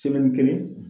kelen